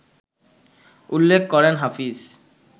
উল্লেখ করেন হাফিজ